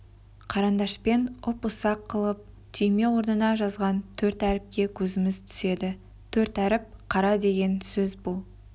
қарындашпен ұп-ұсақ қылып түйме орнына жазған төрт әріпке көзіміз түседі төрт әріп қара деген сөз бұл